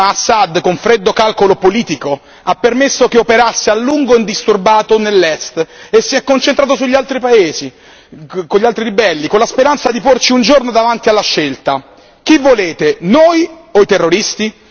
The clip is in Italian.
Ma Assad, con freddo calcolo politico, ha permesso che operasse a lungo indisturbato nell'Est e si è concentrato sugli altri paesi, con gli altri ribelli, con la speranza di porci un giorno davanti alla scelta chi volete, noi o i terroristi?